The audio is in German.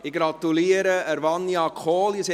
Ich gratuliere Vania Kohli.